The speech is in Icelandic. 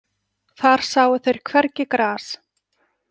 Þar sáu þeir hvergi gras.